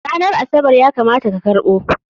Ranar Asabar ya kamata ka karɓo!